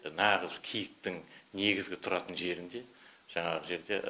нағыз киіктің негізгі тұратын жерінде жаңағы жерде